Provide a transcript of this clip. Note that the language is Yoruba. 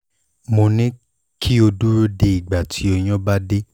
mo ní kí o dúró de ìgbà tí oyún bá dé